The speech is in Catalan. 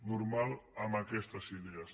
normal amb aquestes idees